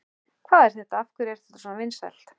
Hvað er þetta, af hverju er þetta svona vinsælt?